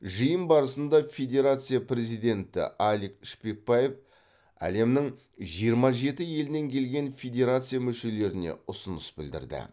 жиын барысында федерация президенті алик шпекбаев әлемнің жиырма жеті елінен келген федерация мүшелеріне ұсыныс білдірді